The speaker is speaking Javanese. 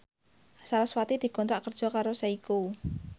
sarasvati dikontrak kerja karo Seiko